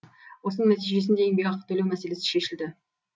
осының нәтижесінде еңбекақы төлеу мәселесі шешілді